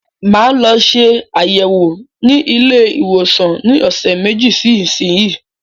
Máa lọ ṣe ayẹwo ní ilé ìwòsàn ní ọsẹ meji sí isiyi